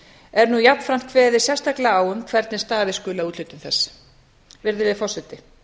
er nú jafnframt kveðið sérstaklega á um hvernig staðið skuli að úthlutun þess virðulegi forseti